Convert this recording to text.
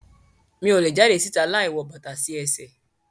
Mi o le jade si'ta láì wọ bàtà sí ẹsẹ